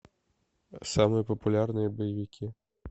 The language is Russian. самые популярные боевики